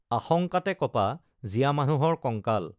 আশঙ্কাতে কঁপা জীয়া মানুহৰ কঙ্কাল